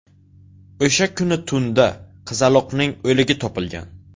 O‘sha kuni tunda qizaloqning o‘ligi topilgan.